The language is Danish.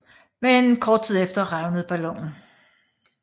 Men kort tid efter revnede ballonen